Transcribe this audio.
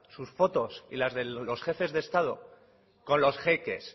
sus fotos y las de los jefes de estado con los jeques